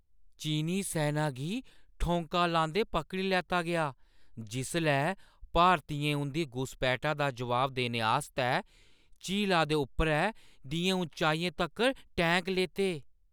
चीनी सैना गी ठौंका लांदे पकड़ी लैता गेआ जिसलै भारतियें उं'दी घुसपैठा दा जवाब देने आस्तै झीला दे उप्परै दियें ऊंचाइयें तक्कर टैंक लेते।